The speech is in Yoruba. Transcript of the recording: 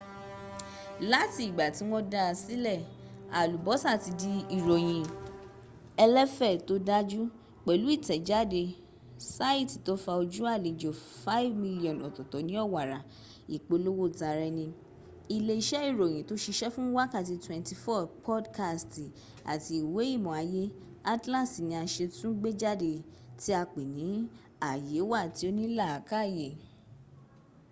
láti ìgbà tí wọ́n dáa sílẹ̀ alubosa ti di ìròyìn ẹlẹ́fẹ́ tó dáju pẹ̀lú ìtẹ̀jáde saiti to fa ojú alejò 5,000,000 ọ̀tọ̀tọ̀ ní owara ipolowo tara eni ilé iṣẹ́ ìròyìn tò ṣiṣe fún wákàtí 24 podkasti àti ìwé ìmọ̀ ayé - atlasi ti a ṣẹ̀ tún gbéjáde tí apé ni aye wa tí ò ní làakáyè